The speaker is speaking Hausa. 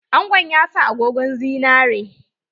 Angon ya sa agogon zinari.